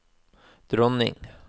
dronning